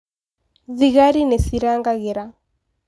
Thigari nĩcirarangĩra